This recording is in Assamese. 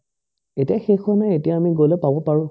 এতিয়া শেষ হোৱা নাই এতিয়া আমি গ'লে পাব পাৰো